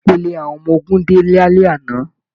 Ìpele àwọn ọmọ ogun dé lálẹ́ àná.